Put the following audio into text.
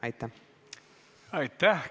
Aitäh!